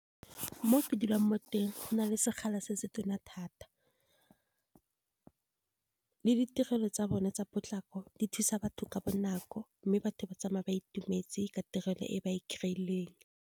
Mo ke dulang mo teng go na le sekgala se se tona thata. Le ditirelo tsa bone tsa potlako di thusa batho ka bonako, mme batho ba tsamaya ba itumetse ka tirelo e ba e kry-leng.